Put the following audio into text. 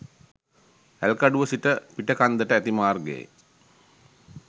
ඇල්කඩුව සිට පිටකන්දට ඇති මාර්ගයේ